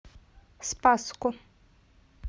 спасску